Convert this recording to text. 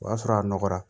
O y'a sɔrɔ a nɔgɔra